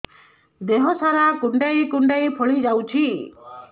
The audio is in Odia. ଦେହ ସାରା କୁଣ୍ଡାଇ କୁଣ୍ଡାଇ ଫଳି ଯାଉଛି